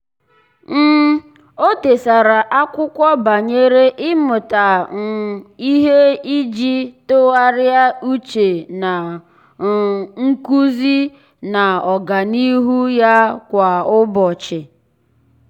um ọ́ dèsara ákwụ́kwọ́ banyere ị́mụ́ta um ihe iji tụ́gharị́a úchè na um nkuzi na ọ́gànihu ya kwa ụ́bọ̀chị̀.